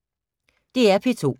DR P2